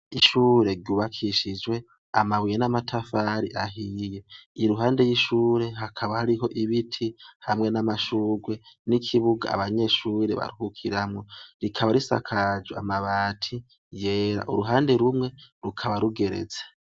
Ishure ryubakishijwe amabuye n'amatafari ahiye iyo ruhande y'ishure hakaba hariho ibiti hamwe n'amashurwe n'ikibuga abanyeshure barhukiramwo rikaba risakajwe amabati yera uruhande rumwe rukaba rugereze.